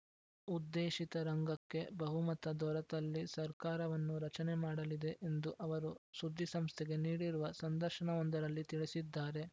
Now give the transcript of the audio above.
ಉದ್ದೇಶಿತ ರಂಗಕ್ಕೆ ಬಹುಮತ ದೊರೆತಲ್ಲಿ ಸರ್ಕಾರವನ್ನು ರಚನೆ ಮಾಡಲಿದೆ ಎಂದು ಅವರು ಸುದ್ದಿಸಂಸ್ಥೆಗೆ ನೀಡಿರುವ ಸಂದರ್ಶನವೊಂದರಲ್ಲಿ ತಿಳಿಸಿದ್ದಾರೆ